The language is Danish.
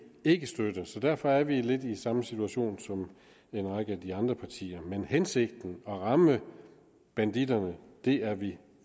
ikke støtte så derfor er vi lidt i samme situation som en række af de andre partier men hensigten at ramme banditterne er vi